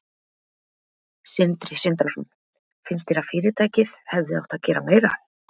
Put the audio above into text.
Sindri Sindrason: Finnst þér að fyrirtækið hefði átt að gera meira?